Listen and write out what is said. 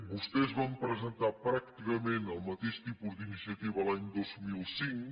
vostès van presentar pràcticament el mateix tipus d’iniciativa l’any dos mil cinc